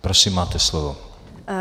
Prosím, máte slovo.